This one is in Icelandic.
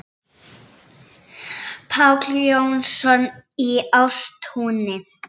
Páll Jónsson í Ástúni